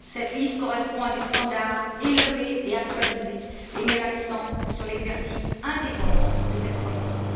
Cette liste correspond à des standards élevés et actualisés, et met l'accent sur l'exercice indépendant de cette profession.